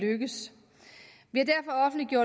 lykkes